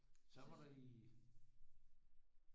Så var der lige